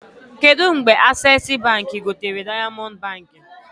Kedụ mgbe Accessi Baankị gotere Diamond Baankị?